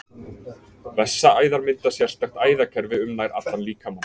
Vessaæðar mynda sérstakt æðakerfi um nær allan líkamann.